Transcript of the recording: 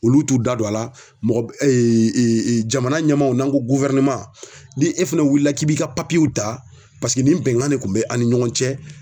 Olu t'u da don a la mɔgɔ b jamana ɲɛmaaw n'an ko ni e fɛnɛ wulila k'i b'i ka w ta paseke nin bɛnkan de kun bɛ an' ni ɲɔgɔn cɛ